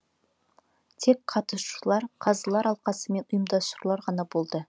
тек қатысуышылар қазылар алқасы мен ұйымдастырушылар ғана болды